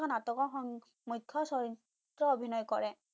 মুখ্য নাটকৰ মুখ্য চৰিত্ৰ অভিনয় কৰে